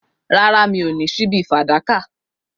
Rárá, mi ò ní ṣíbí fàdákà